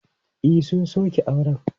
E, sun sauke auren.